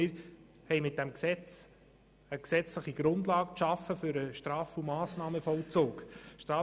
Wir haben mit diesem Gesetz eine gesetzliche Grundlage für den Straf- und Massnahmenvollzug geschaffen.